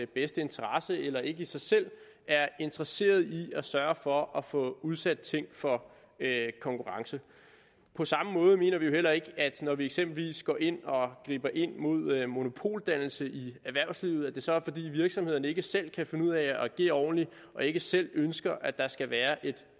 bedste interesse eller ikke i sig selv er interesserede i at sørge for at få udsat ting for konkurrence på samme måde mener vi jo heller ikke at det når vi eksempelvis går ind og griber ind mod monopoldannelse i erhvervslivet så er fordi virksomhederne ikke selv kan finde ud af at agere ordentligt og ikke selv ønsker at der skal være et